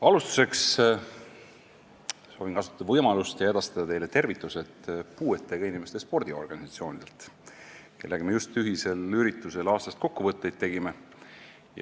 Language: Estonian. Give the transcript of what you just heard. Alustuseks soovin võimalust kasutada ja edastada teile tervitused puuetega inimeste spordiorganisatsioonidelt, kellega me just ühisel üritusel aastast kokkuvõtteid tegime.